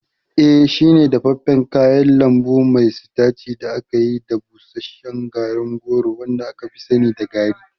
Eba shine dafaffen kayan lambu mai sitaci da aka yi da busasshen garin rogo wanda aka fi sani da garri.